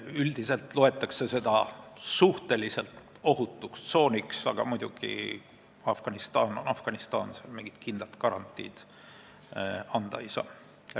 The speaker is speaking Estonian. Üldiselt loetakse seda suhteliselt ohutuks tsooniks, aga Afganistan on muidugi Afganistan – seal mingit kindlat garantiid anda ei saa.